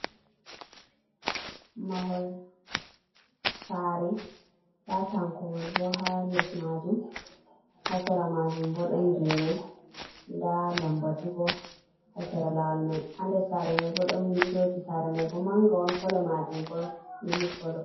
Mahol saare ndaa tankowol bo haa les maajum, haa sera maajum bo ɗon geene. Ndaa lambatu bo haa sera laawol may. Haa nder saare may bo, ɗon winndooji saare may bo mannga, ɗon kolo maajum bo mili kolo.